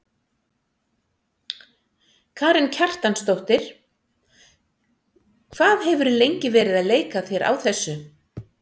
Karen Kjartansdóttir: Hvað hefurðu lengi verið að leika þér á þessu?